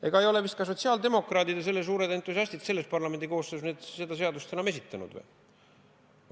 Ega ei ole vist ka sotsiaaldemokraadid, suured entusiastid, selles parlamendikoosseisus seda seadust enam esitanud.